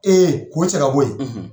k'o cɛ ka bɔ yen,